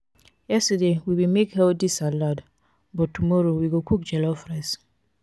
yesterday we bin make healthy salad but tomorrow we go cook jollof rice.